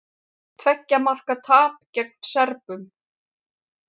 Tveggja marka tap gegn Serbum